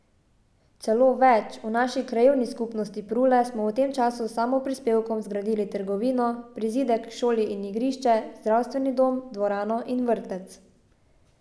Celo več, v naši krajevni skupnosti Prule smo v tem času s samoprispevkom zgradili trgovino, prizidek k šoli in igrišče, zdravstveni dom, dvorano in vrtec.